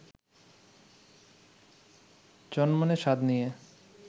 চনমনে স্বাদ নিয়ে